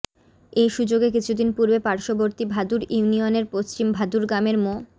এ সুযোগে কিছুদিন পূর্বে পার্শ্ববর্তী ভাদুর ইউনিয়নের পশ্চিম ভাদুর গ্রামের মো